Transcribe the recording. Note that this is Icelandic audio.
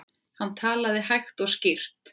Hann talaði hægt og skýrt.